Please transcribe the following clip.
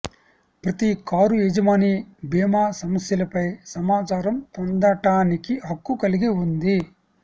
ప్రతి కారు యజమాని భీమా సమస్యలపై సమాచారం పొందటానికి హక్కు కలిగి ఉంది